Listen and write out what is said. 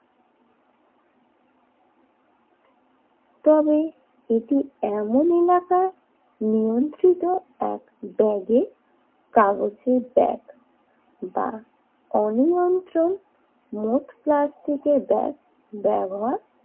তবে এটি এমন এলাকা নিয়ন্ত্রিত এক ব্যাগে কাগজের ব্যাগ বা অনিয়ন্ত্রণ মোট প্লাস্টিকের ব্যাগ ব্যবহার